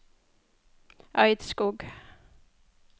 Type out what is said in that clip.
Eidskog